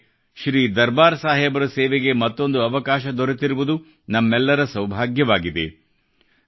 ನಮಗೆ ಶ್ರೀ ದರ್ಬಾರ್ ಸಾಹೇಬರ ಸೇವೆಗೆ ಮತ್ತೊಂದು ಅವಕಾಶ ದೊರೆತಿರುವುದು ನಮ್ಮೆಲ್ಲರ ಸೌಭಾಗ್ಯವಾಗಿದೆ